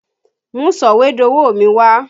Mú sọ̀wédowó mi wá!